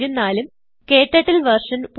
ഉം ക്ടർട്ടിൽ വെർഷൻ